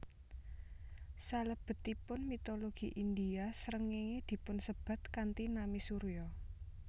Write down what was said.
Salebetipun mitologi India srengéngé dipunsebat kanthi nami Surya